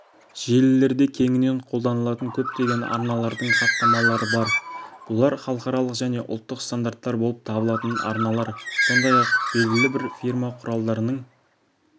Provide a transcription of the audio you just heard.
желілерде кеңінен қолданылатын көптеген арналардың хаттамалары бар бұлар халықаралық және ұлттық стандарттар болып табылатын арналар сондай-ақ белгілі бір фирма құралдарының